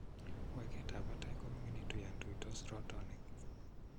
Weketab batay ko miningitu yon tuuytos rootoonik.